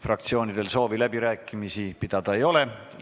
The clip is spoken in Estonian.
Fraktsioonidel rohkem soovi läbirääkimisi pidada ei ole.